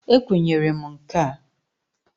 E kwenyere m nka.